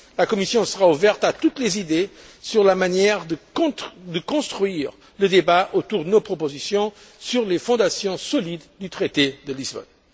La Commission sera ouverte à toutes les idées sur la manière de construire le débat autour de nos propositions sur les fondations solides du traité de Lisbonne.